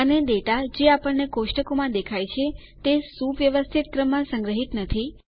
અને ડેટા જે આપણને કોષ્ટકો માં દેખાય છે તે સુવ્યવસ્થિત ક્રમમાં સંગ્રહિત નથી